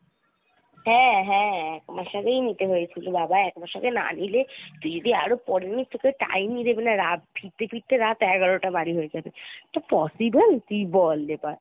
হ্যাঁ , হ্যাঁ একমাস আগেই নিতে হয়েছিল বাবা একমাস আগে না নিলে তুই যদি আরো পরে নিস্ তো তোকে time ই দেবে না রাত ফিরতে ফিরতে রাত এগারোটা বাড়ি হয়ে যাবে এটা possible ? তুই বল এবার ।